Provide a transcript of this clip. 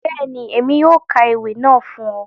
Bẹ́ẹ̀ni, Emi yóò ka ewi naa fun ọ.